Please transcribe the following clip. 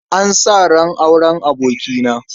An sa ran auren abokina.